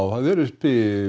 það er uppi